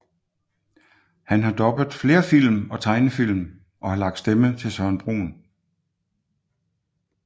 Han har dubbet flere film og tegnefilm og har lagt stemme til Søren Brun